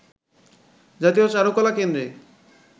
জাতীয় চারুকলা কেন্দ্রে